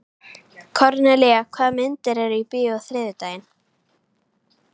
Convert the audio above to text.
Kornelía, hvaða myndir eru í bíó á þriðjudaginn?